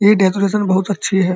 ये डेकोरेशन बहोत अच्छी है।